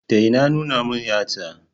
Daina nuna min yatsa.